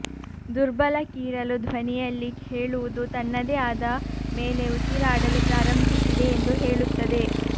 ದುರ್ಬಲ ಕೀರಲು ಧ್ವನಿಯಲ್ಲಿ ಹೇಳುವುದು ತನ್ನದೇ ಆದ ಮೇಲೆ ಉಸಿರಾಡಲು ಪ್ರಾರಂಭಿಸಿದೆ ಎಂದು ಹೇಳುತ್ತದೆ